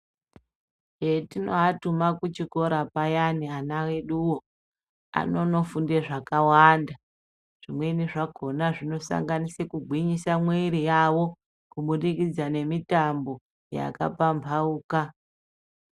Petinoatuma kuchikora payani ana eduvo anonofunde zvakawanda. Zvimweni zvakona zvinosanganise kugwinyise mwiri yavo, kubudikidza nemitambo yakapambauka.